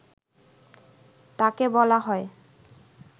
তাকে বলা হয়